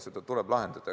Neid tuleb lahendada.